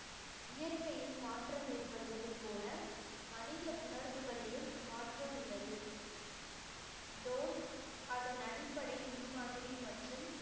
இயற்கையில் மாற்றம் ஏற்படுவது போல மனித உணர்வுகளிலும் மாற்றம் உள்ளது அதன் அடிப்படை முன்மாதிரி மற்றும்